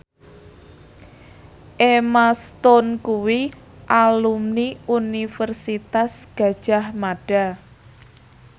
Emma Stone kuwi alumni Universitas Gadjah Mada